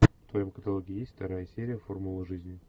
в твоем каталоге есть вторая серия формулы жизни